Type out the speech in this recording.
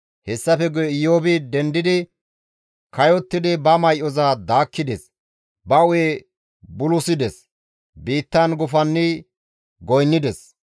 Hessafe guye Iyoobi dendidi kayottidi ba may7oza daakkides; ba hu7e bulusides; biittan gufanni goynnides.